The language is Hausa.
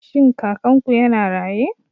Shin Kakanku yana raye?